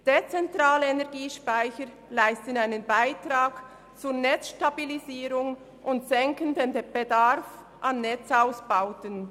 Dezentrale Energiespeicher leisten einen Beitrag zur Netzstabilisierung und senken den Bedarf an Netzausbauten.